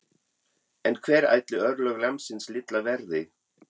En hver ætli örlög lambsins litla verði?